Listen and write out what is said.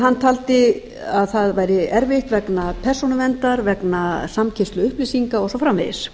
hann taldi að það væri erfitt vegna persónuverndar vegna samkeyrslu upplýsinga og svo framvegis